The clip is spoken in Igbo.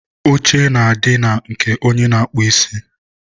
oche na-adị na nke onye na-akpụ isi.